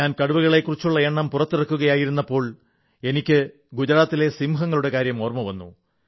ഞാൻ കടുവകളെക്കുറിച്ചുള്ള എണ്ണം പുറത്തിറക്കിയപ്പോൾ എനിക്ക് ഗുജറാത്തിലെ സിംഹങ്ങളുടെ കാര്യം ഓർമ്മവന്നു